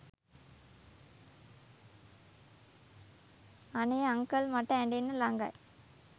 අනේ අංකල් මට ඇඬෙන්න ලඟයි